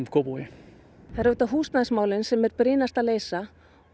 Kópavogi það eru auðvitað húsnæðismálin sem er brýnast að leysa